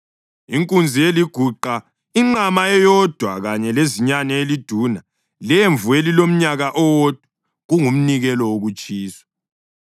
inkunzi eliguqa, inqama eyodwa kanye lezinyane eliduna lemvu elilomnyaka owodwa, kungumnikelo wokutshiswa;